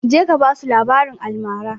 Je ka basu labaran almara!